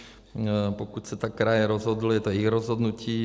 Pokud se tak kraje rozhodly, to je jejich rozhodnutí.